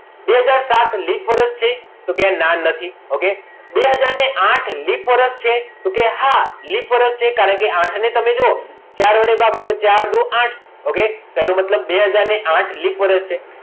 બે હાજર સાત લિપ વર્ષ છે તો કે ના નથી okay બે હાજર આઠ લિપ વર્ષ છે તો કે હા લીપ વરસ છે કારણ કે આઠને તમે જુઓ ચાર વડે ભાગો તો ચાર દુ આઠ એનો મતલબ બે હાજર આઠ એ લિપ વર્ષ છે.